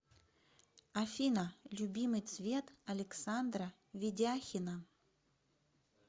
афина любимый цвет александра ведяхина